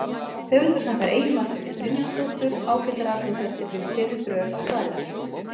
Höfundur þakkar Eyju Margréti Brynjarsdóttur ágætar athugasemdir við fyrri drög að svarinu.